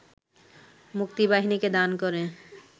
মুক্তিবাহিনীকে দান করে